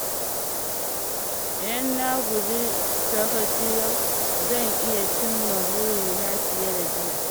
Idan na guji sakaci yau, zan iya cimma burina fiye da jiya.